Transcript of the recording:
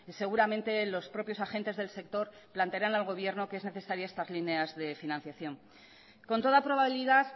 seguramente los propios agentes del sector plantearán al gobierno que es necesaria estas líneas de financiación con toda probabilidad